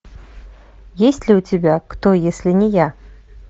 есть ли у тебя кто если не я